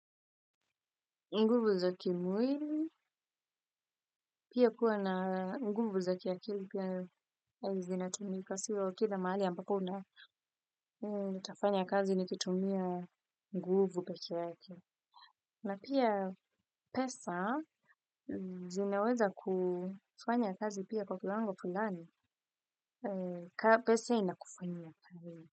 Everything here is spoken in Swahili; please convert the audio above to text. Nguvu za kimwili. Pia kuwa na nguvu za kiakili pia zinatumika. Sio kila mahali ambapo una nitafanya kazi nikitumia nguvu peke yake. Na pia pesa zinaweza kufanya kazi pia kwa kiwango fulani. Pesa inakufanyia.